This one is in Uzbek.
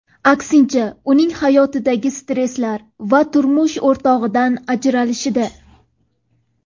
Aksincha uning hayotidagi stresslar va turmush o‘rtog‘idan ajralishida.